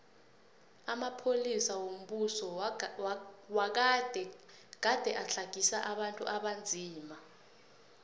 amapolisa wombuso wagade gade atlagisa abantu abanzima